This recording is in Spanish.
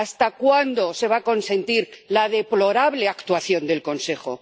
¿Hasta cuándo se va a consentir la deplorable actuación del Consejo?